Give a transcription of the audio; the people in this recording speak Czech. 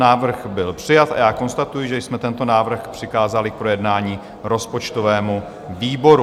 Návrh byl přijat a já konstatuji, že jsme tento návrh přikázali k projednání rozpočtovému výboru.